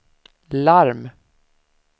larm